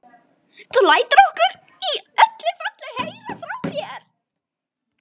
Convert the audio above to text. Þú lætur okkur í öllu falli heyra frá þér.